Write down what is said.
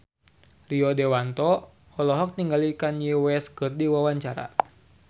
Rio Dewanto olohok ningali Kanye West keur diwawancara